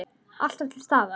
Alltaf til staðar.